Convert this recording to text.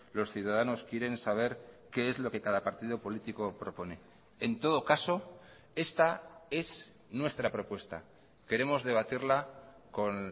los ciudadanos quieren saber qué es lo que cada partido político propone en todo caso esta es nuestra propuesta queremos debatirla con